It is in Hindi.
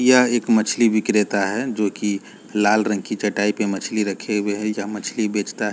यह एक मछली विक्रेता है जो की लाल रंग की चटाई पर मछली रखे हुए हैं यहां मछली बेचता--